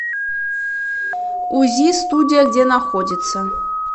узи студия где находится